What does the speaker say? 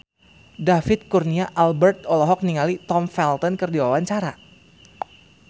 David Kurnia Albert olohok ningali Tom Felton keur diwawancara